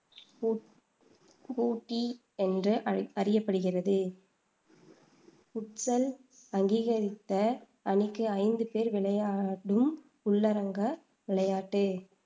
பூ பூட்டீ என்று அ அறியப்படுகிறது புட்சல் அங்கீகரித்த அணிக்கு ஐந்து பேர் விளையாடும் உள்ளரங்க விளையாட்டு